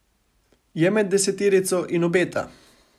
Je med deseterico in obeta.